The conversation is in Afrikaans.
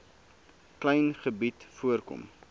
klein gebied voorkom